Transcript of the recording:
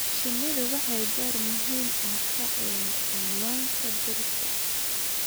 Shinnidu waxay door muhiim ah ka ciyaartaa manka dhirta.